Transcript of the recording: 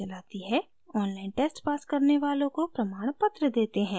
online test pass करने वालों को प्रमाणपत्र देते हैं